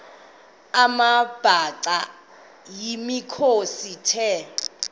amabhaca yimikhosi the